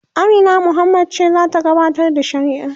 Amina Muhammad ce zata gabatar da shirin